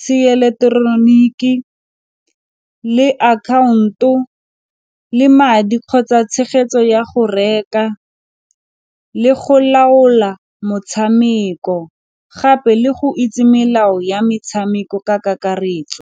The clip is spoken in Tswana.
seeleteroniki le akhaonto le madi kgotsa tshegetso ya go reka le go laola motshameko gape le go itse melao ya metshameko ka kakaretso.